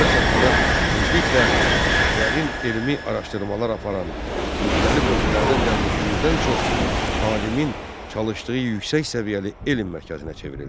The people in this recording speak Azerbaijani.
Bu rəsədxana tezliklə dərin elmi araşdırmalar aparan, müxtəlif ölkələrdən gəlmiş 100-dən çox alimin çalışdığı yüksək səviyyəli elm mərkəzinə çevrildi.